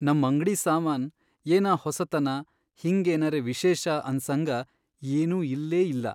ನಮ್ ಅಂಗ್ಡಿ ಸಾಮಾನ್ ಏನಾ ಹೊಸಾತನಾ ಹಿಂಗ್ ಏನರೆ ವಿಶೇಷ ಅನ್ಸಹಂಗ ಏನೂ ಇಲ್ಲೇಇಲ್ಲಾ.